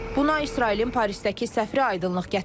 Bunu İsrailin Parisdəki səfiri aydınlıq gətirib.